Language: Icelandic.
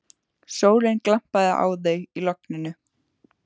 Sólin glampaði á þau í logninu.